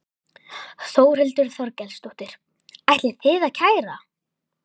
Þórhildur Þorkelsdóttir: Ætlið þið að kæra?